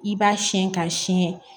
I b'a siyɛn ka siyɛn